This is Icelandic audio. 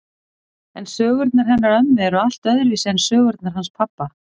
En sögurnar hennar ömmu eru allt öðruvísi en sögurnar hans pabba.